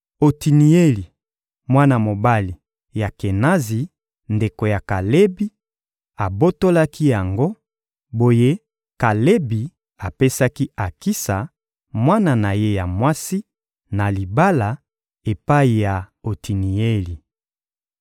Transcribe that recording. Otinieli, mwana mobali ya Kenazi, ndeko ya Kalebi, abotolaki yango; boye Kalebi apesaki Akisa, mwana na ye ya mwasi, na libala epai ya Otinieli.